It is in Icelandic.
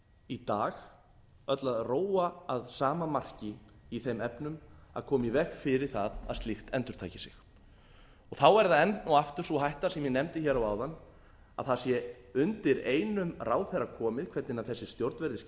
í dag öll að róa að sama marki í þeim efnum að koma í veg fyrir að slíkt endurtaki sig þá er það enn og aftur sú hætta sem ég nefndi hér áðan að það sé undir einum ráðherra komið hvernig þessi stjórn verður skipuð þá finnst